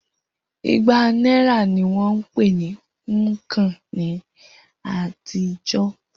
Igba náírà ní wón ń pè ní púnǹkan ní àtijọ́.